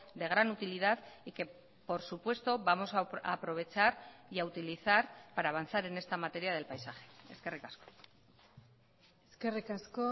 de gran utilidad y que por supuesto vamos a aprovechar y a utilizar para avanzar en esta materia del paisaje eskerrik asko eskerrik asko